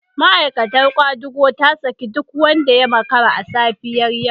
Ma'aikatar kwadago ta saki duk wanda ya makara a safiyar yau